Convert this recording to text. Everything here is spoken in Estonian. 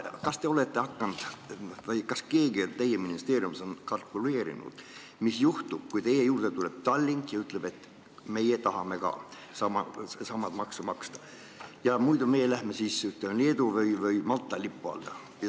Kas teie või keegi teie ministeeriumis on kalkuleerinud, mis juhtub, kui teie juurde tuleb Tallink ja ütleb, et meie tahame ka samamoodi maksu maksta, muidu me lähme näiteks Leedu või Malta lipu alla?